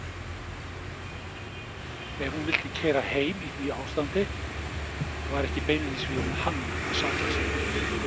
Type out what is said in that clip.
Ef hún vildi keyra heim í því ástandi var ekki beinlínis við hann að sakast.